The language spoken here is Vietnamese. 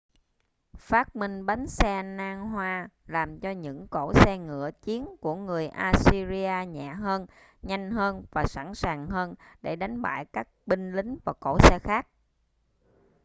phát minh bánh xe nan hoa làm cho những cỗ xe ngựa chiến của người assyria nhẹ hơn nhanh hơn và sẵn sàng hơn để đánh bại các binh lính và cỗ xe khác